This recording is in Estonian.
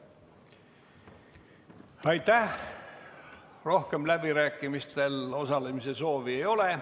Rohkem läbirääkimistel osalemise soovi ei ole.